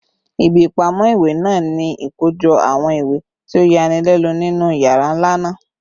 Ibi ipamọ iwe naa ni ikojọpọ awọn iwe ti o yanilenu ninu yara nla naa